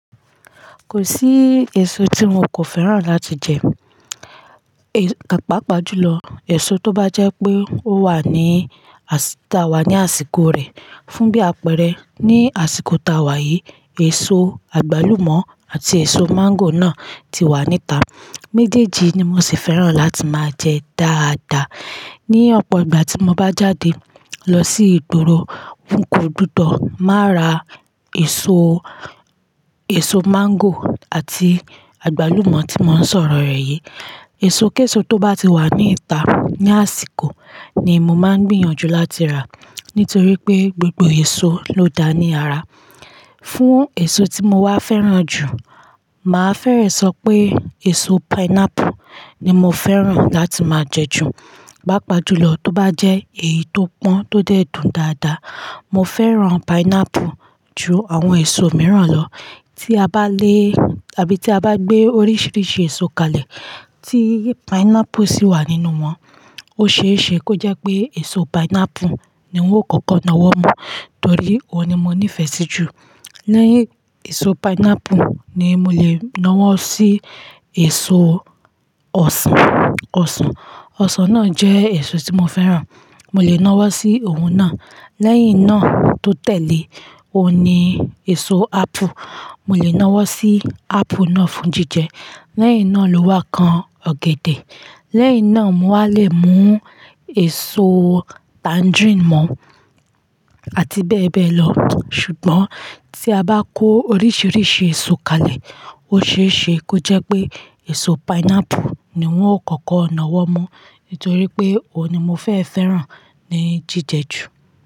Kò sí èso tí mo kò fẹ́ràn láti jẹ. A Ẹ pàápàá jùlọ èso tó bá jẹ́ pé ó wà ní àṣìta wa ní àsìkò rẹ̀. Fún bí àpẹẹrẹ, ní àsìkò táa wà yìí, èso àgbálùmọ́ àti èso máńgò náà ti wà níta. Mẹ́jèèjì ni mo sì fẹ́ràn láti máa jẹ dáadáa. Ni ọ̀pọ̀ ìgbà tí mo bá jáde lọ sí ìgboro, n kò gbudo má ra èso, èso máńgò àti àgbálùmọ́ tí mò ń sọ̀rọ̀ rẹ̀ yìí. Èso kéṣo tó bá ti wà níta ní àsìkò ni mo máa gbìyànjú láti rà nítorí pé gbogbo èso ló dá ní ara. Fún èso tí mo wá fẹ́ràn jù, màá fẹ́rẹ̀ sọ pé èso pineapple ni mo fẹ́ràn láti máa jẹ jù. Pàápàá jùlọ tó bá jẹ́ èyí tó pọ́n tó dẹ̀ dùn dáadáa. Mo fẹ́ràn pineapple ju àwọn èso mìíràn lọ. Tí a bá lé àbí tí a bá gbé oríṣiríṣi èso kalẹ̀ tí pineapple sì wà nínú wọn, ó ṣeéṣe kó jẹ́ pé èso pineapple ni won ó kọ́kọ́ nawọ́ mọ́ torí ọ̀ ní mo ní ìfẹ́ sí jù. Lẹ́yìn èso pineapple ni mo lè nawọ́ sí èso ọsàn, ọsàn. Ọsàn náà jẹ́ èso tí mo fẹ́ràn. Mo lè nawọ́ sí ohun náà. Lẹ́yìn náà tó tẹ̀lé ọ̀ ní èso ápù. Mo lè nawọ́ sí ápù náà fún jíjẹ. Lẹ́yìn náà ló wá kan ọ̀gẹ̀dẹ̀. Lẹ́yìn náà mo wà lè mú èso tangerine mọ̀ àti bẹ́ẹ̀ bẹ́ẹ̀ lọ. Ṣùgbọ́n tí a bá kó oríṣiríṣi èso kalẹ̀, ó ṣeéṣe kó jẹ́ pé èso pineapple ni wọ́n ó kọ́kọ́ nawọ́ mu nítorí pé ọ̀ ní mo fẹ́ fẹ́ràn ní jíjẹ jù.